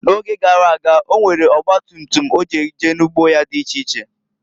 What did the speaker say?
N'oge garaga, onwere ọgba tutum o ji eje n'ugbo ya di iche iche.